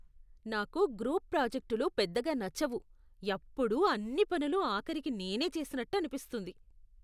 నాకు గ్రూప్ ప్రాజెక్టులు పెద్దగా నచ్చవు, ఎప్పుడూ అన్ని పనులు ఆఖరికి నేనే చేసినట్టు అనిపిస్తుంది.